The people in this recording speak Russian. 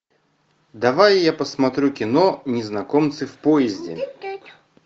давай я посмотрю кино незнакомцы в поезде